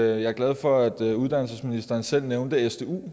jeg er glad for at uddannelsesministeren selv nævnte stu